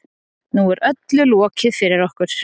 Nú er öllu lokið fyrir okkur